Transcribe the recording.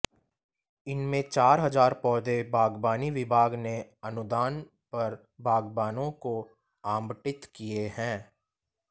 इनमें चार हजार पौधे बागबानी विभाग ने अनुदान पर बागबानों को आबंटित किए हैं